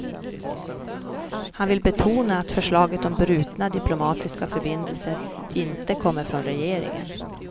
Han vill betona att förslaget om brutna diplomatiska förbindelser inte kommer från regeringen.